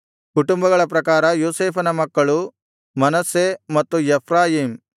ಕುಟುಂಬಗಳ ಪ್ರಕಾರ ಯೋಸೇಫನ ಮಕ್ಕಳು ಮನಸ್ಸೆ ಮತ್ತು ಎಫ್ರಾಯೀಮ್